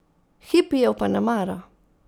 Hipijev pa ne mara.